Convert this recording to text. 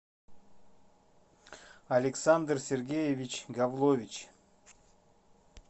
александр сергеевич гавлович